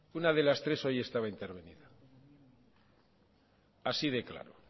así de claro